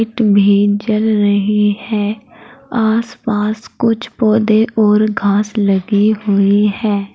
जल रहे है आसपास कुछ पौधे और घास लगी हुई है।